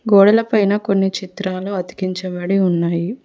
గోడల పైన కొన్ని చిత్రాలు అతికించబడి ఉన్నాయి.